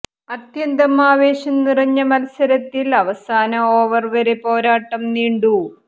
അത്യന്തം ആവേശം നിറഞ്ഞ മത്സരത്തിൽ അവസാന ഓവർ വരെ പോരാട്ടം നീണ്ടു